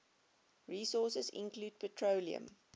resources include petroleum